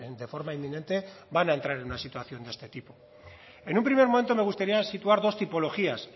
de forma inminente van a entrar en una situación de este tipo en un primer momento me gustaría situar dos tipologías